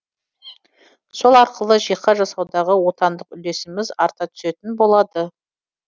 сол арқылы жиһаз жасаудағы отандық үлесіміз арта түсетін болады